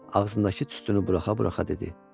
Ağzındakı tüstünü buraxa-buraxa dedi: